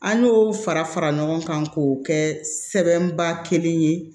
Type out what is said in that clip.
An y'o fara fara ɲɔgɔn kan k'o kɛ sɛbɛnba kelen ye